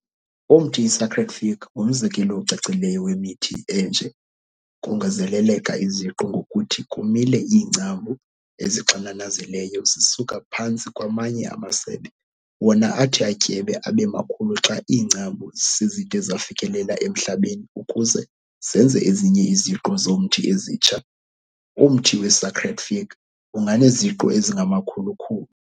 Umthi iSacred Fig ngumzekelo ocacileyo wemithi enje, kongezeleleka 'iziqu' ngokuthi kumile iingcambu ezixananazileyo zisuka phantsi kwamanye amasebe, wona athi atyebe abe makhulu xa iingcambu sezide zafikelela emhlabeni ukuze zenze ezinye iziqu zomthi ezintsha, umthi weSacred Fig unganeziqu ezingamakhulu-khulu.